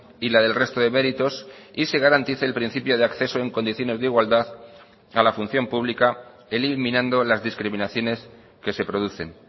y la del resto de méritos y se garantice el principio de acceso en condiciones de igualdad a la función pública eliminando las discriminaciones que se producen